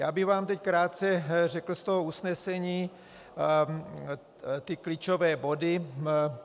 Já bych vám teď krátce řekl z toho usnesení ty klíčové body.